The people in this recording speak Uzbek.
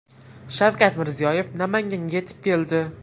Shavkat Mirziyoyev Namanganga yetib keldi.